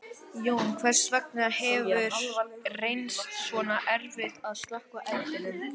Jóhann, hvers vegna hefur reynst svona erfitt að slökkva eldinn?